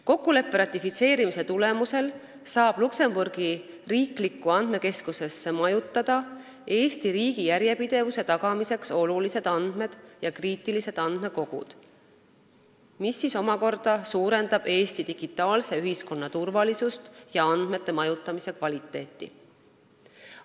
Kokkuleppe ratifitseerimise tulemusel saab Luksemburgi riiklikku andmekeskusesse majutada Eesti riigi järjepidevuse tagamiseks olulised andmed ja kriitilised andmekogud, mis omakorda suurendab Eesti digitaalse ühiskonna turvalisust ja andmete majutamise kvaliteeti.